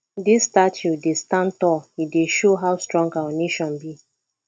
dis statue dey stand tall e dey show how strong our nation be